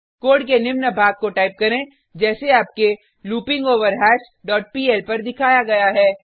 code के निम्न भाग को टाइप करें जैसे आपके लूपिंगवरहश डॉट पीएल पर दिखाया गया है